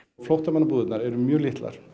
flóttamannabúðirnar eru mjög litlar